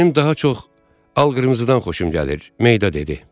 Mənim daha çox al qırmızıdan xoşum gəlir, Meyda dedi.